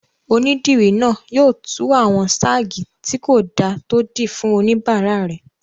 Onídìrí náà yóò tú àwọn sáàgì tí kò dáa tó dì fún oníbàárà rẹ̀